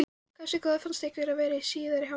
Hversu góður fannst ykkur hann vera í síðari hálfleik?